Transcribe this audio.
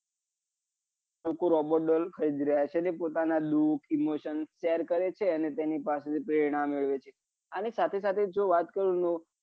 લોકો robot doll ખરીદી રહ્યા છે અને પોતાના દુખ emotion share કરે છે અને તેની પાસે થી પ્રેરણા મેળવે છે